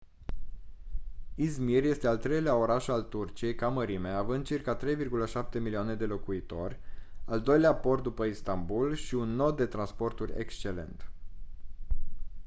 i̇zmir este al treilea oraș al turciei ca mărime având circa 3,7 milioane de locuitori al doilea port după istanbul și un nod de transporturi excelent